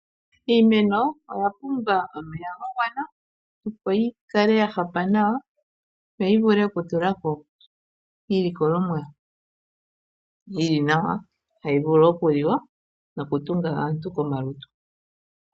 Iimeno oya pumbwa omeya ga gwana. Opo yi kale ya hapa nawa yo yi vule oku tula ko iiyimati yili nawa tayi vulu oku liwa noku tunga omalutu gaantu.